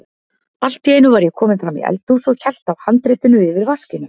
Allt í einu var ég kominn fram í eldhús og hélt á handritinu yfir vaskinum.